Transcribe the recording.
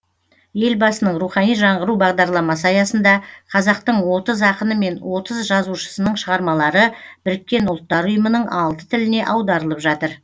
елбасының рухани жаңғыру бағдарламасы аясында қазақтың отыз ақыны мен отыз жазушысының шығармалары біріккен ұлттар ұйымының алты тіліне аударылып жатыр